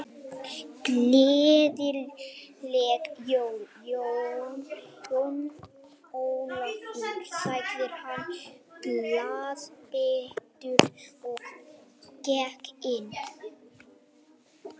Gleðileg jól, Jón Ólafur sagði hann glaðbeittur og gekk inn.